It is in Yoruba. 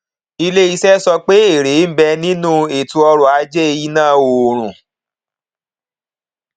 ilé iṣẹ sọ pé èrè ń bẹ nínú ètò ọrọ ajé iná oòrùn